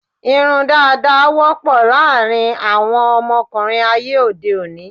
Irun dàda wọ́pọ̀ láàárín àwọn ọmọkùnrin ayé òde òní.